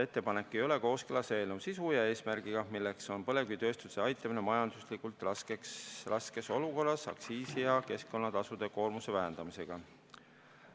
Ettepanek ei ole kooskõlas eelnõu sisu ja eesmärgiga, milleks on põlevkivitööstuse aitamine majanduslikult raskes olukorras aktsiisi- ja keskkonnatasude koormuse vähendamisega.